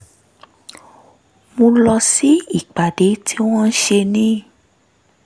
mo lọ sí ìpàdé tí wọ́n ṣe ní